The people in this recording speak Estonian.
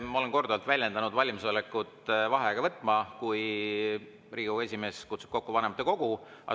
Ma olen korduvalt väljendanud valmisolekut vaheaega võtta, kui Riigikogu esimees kutsub kokku vanematekogu.